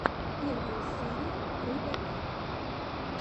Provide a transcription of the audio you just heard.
первая серия рыбакит